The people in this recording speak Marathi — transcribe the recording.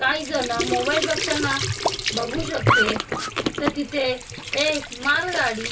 काहीजणं मोबाईल बघताना बघू शकते त्या तिथे एक मालगाडी--